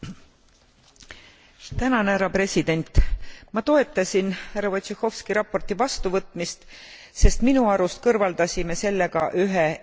Ma toetasin härra Wojciechowski raporti vastuvõtmist, sest minu arust kõrvaldasime sellega ühe eksisteerivatest kahepalgelisuse näidetest.